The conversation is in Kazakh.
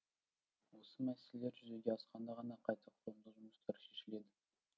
осы мәселелер жүзеге асқанда ғана қайта құрылымдау жұмыстары шешіледі